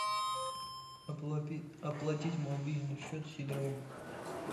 оплатить мобильный счет сидорову